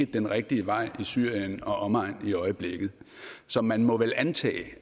den rigtige vej i syrien og omegn i øjeblikket så man må vel antage at